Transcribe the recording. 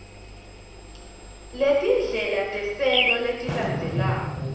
letindlela tesento letilandzelako